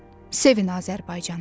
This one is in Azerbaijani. Sevin Azərbaycanı.